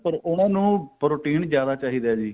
ਉਹਨਾ ਨੂੰ protein ਜਿਆਦਾ ਚਾਹੀਦਾ ਜੀ